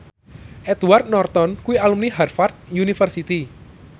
Edward Norton kuwi alumni Harvard university